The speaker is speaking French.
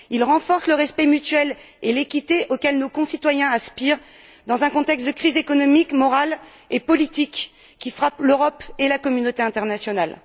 Il renforce le respect mutuel et l'équité auxquels nos concitoyens aspirent, dans le contexte de la crise économique, morale et politique qui frappe l'Europe et la communauté internationale.